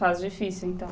Fase difícil, então.